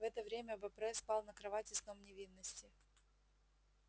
в это время бопре спал на кровати сном невинности